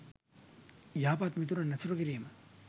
යහපත් මිතුරන් ඇසුරු කිරීම